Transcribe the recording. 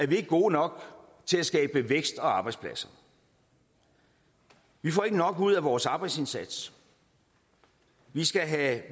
vi ikke gode nok til at skabe vækst og arbejdspladser vi får ikke nok ud af vores arbejdsindsats vi skal have